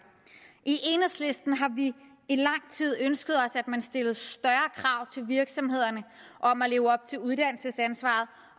i enhedslisten har vi i lang tid ønsket at man stillede større krav til virksomhederne om at leve op til uddannelsesansvaret